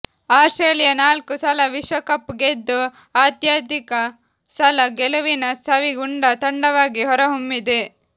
Australia ನಾಲ್ಕು ಸಲ ವಿಶ್ವಕಪ್ ಗೆದ್ದು ಅತ್ಯಧಿಕ ಸಲ ಗೆಲುವಿನ ಸವಿ ಉಂಡ ತಂಡವಾಗಿ ಹೊರಹೊಮ್ಮಿದೆ